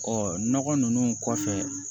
nɔgɔ ninnu kɔfɛ